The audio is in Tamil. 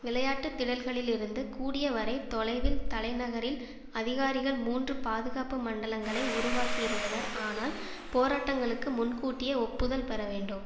விளையாட்டு திடல்களிலிருந்து கூடிய வரை தொலைவில் தலைநகரில் அதிகாரிகள் மூன்று பாதுகாப்பு மண்டலங்களை உருவாக்கி இருந்தனர் ஆனால் போராட்டங்களுக்கு முன்கூட்டியே ஒப்புதல் பெற வேண்டும்